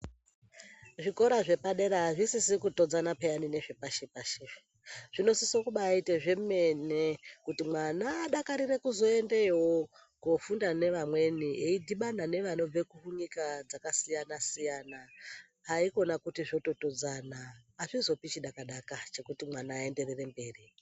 Zvikora zvepadera azvisisi kutodzana payani nezvepashi-pashi izvi zvinosise kumbite zvemene-mene kuti mwana ngadakarire kuzoendeyo kofunda neamweni eidhibana nevanobve kunyika dzakasiyana-siyana haikona kuti zvototodzana azvizopi chidaka-daka chekuti mwana aenderere mberi